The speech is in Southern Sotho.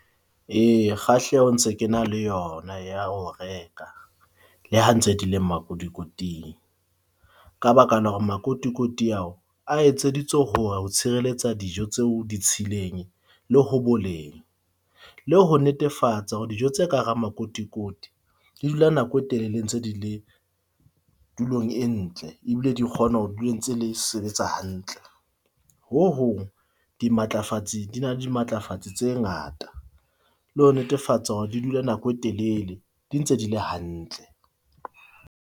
Eya kgahleho ntse ke na le yona ya ho reka le ha ntse dile makotikoting. Ka baka la hore makotikoti ao a etseditswe ho tshireletsa dijo tseo ditshileng le ho boleng. Le ho netefatsa hore dijo tse ka hara makotikoti di dula nako e telele ntse di le tulong e ntle, ebile di kgona ho dula ntse di sebetsa hantle. Ho hong, dimatlafatsi di na di na le dimatlafatsi tse ngata le ho netefatsa hore di dula nako e telele, di ntse di le hantle.